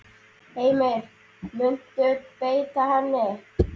Heimir: Muntu beita henni?